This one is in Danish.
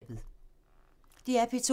DR P2